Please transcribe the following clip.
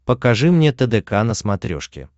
покажи мне тдк на смотрешке